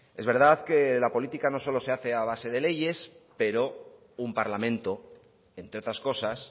es verdad que la política no solo se hace a base de leyes pero un parlamento entre otras cosas